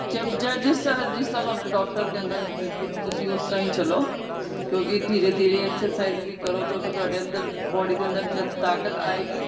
ਜਬ ਜਿਸ ਤਰ੍ਹਾਂ ਤੁਹਾਨੂੰ doctor ਕਹਿੰਦਾ ਬਿਲਕੁਲ ਤੁਸੀਂ ਉਸ ਤਰ੍ਹਾਂ ਹੀ ਚਲੋ ਕਿਉਂਕਿ ਧੀਰੇ ਧੀਰੇ exercise ਵੀ ਕਰੋ ਕਿਉਂਕਿ ਤੁਹਾਡੇ ਅੰਦਰ body ਦੇ ਅੰਦਰ ਤਾਕਤ ਆਏਗੀ